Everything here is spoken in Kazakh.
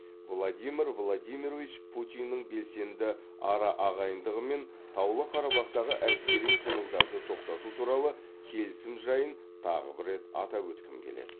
владимир владимирович путиннің белсенді араағайындығымен таулы қарабақтағы әскери қимылдарды тоқтату туралы келісім жайын тағы бір рет атап өткім келеді